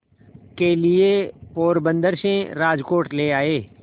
के लिए पोरबंदर से राजकोट ले आए